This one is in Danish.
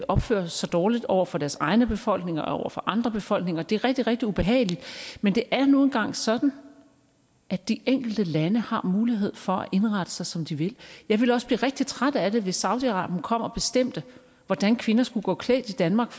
opfører sig dårligt over for deres egne befolkninger og over for andre befolkninger det er rigtig rigtig ubehageligt men det er nu engang sådan at de enkelte lande har mulighed for at indrette sig som de vil jeg ville også blive rigtig træt af det hvis saudi arabien kom og bestemte hvordan kvinder skulle gå klædt i danmark